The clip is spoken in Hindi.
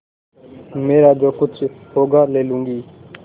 मेरा जो कुछ होगा ले लूँगी